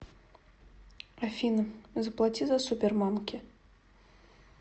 афина заплати за супермамки